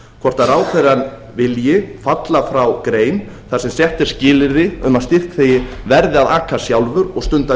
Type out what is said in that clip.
hvort ráðherrann vilji falla frá grein þar sem sett er skilyrði um að styrkþegi verði að aka sjálfur og stunda